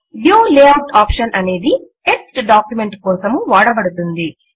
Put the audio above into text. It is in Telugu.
వ్యూ లేఆఉట్ ఆప్షన్ అనేది టెక్స్ట్ డాక్యుమెంట్స్ కోసము వాడబడుతుంది